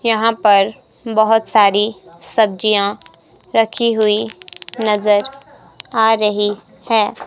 यहां पर बहुत सारी सब्जियां रखी हुई नजर आ रही है।